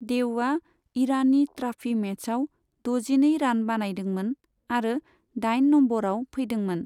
देवआ इरानि ट्राफि मेचआव द'जिनै रान बानायदोंमोन आरो दाइन नंबरआव फैदोंमोन।